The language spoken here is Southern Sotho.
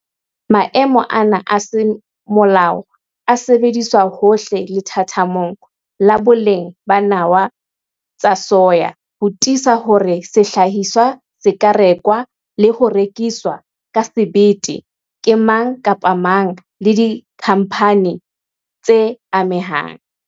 Maemo ana a semolao a sebediswa hohle lethathamong la boleng ba nawa tsa soya ho tiisa hore sehlahiswa se ka rekwa le ho rekiswa ka sebete ke mang kapa mang le dikhamphane tse amehang.